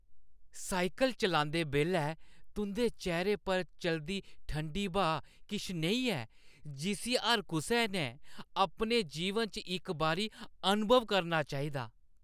Cycle चलांदे बेल्लै तुंʼदे चेह्‌रे पर चलदी ठंडी ब्हा किश नेही ऐ जिस्सी हर कुसै ने अपने जीवन च इक बारी अनुभव करना चाहिदा।